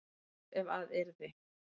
tap ef að yrði